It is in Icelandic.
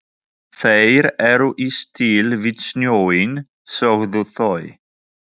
Þeir eru í stíl við snjóinn, sögðu þau.